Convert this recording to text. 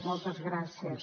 moltes gràcies